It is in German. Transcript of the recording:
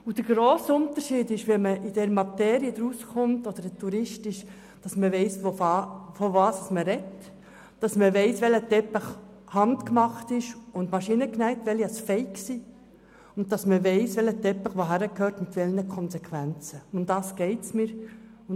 Der grosse Unterschied zwischen jemandem, der sich im Teppichhandel auskennt und einem Touristen ist, dass derjenige, der sich im Teppichhandel auskennt, weiss, welcher Teppich von Hand und welcher maschinell hergestellt wurde und welcher Teppich mit welchen Konsequenzen wohin gehört.